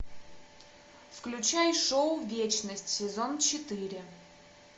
включай шоу вечность сезон четыре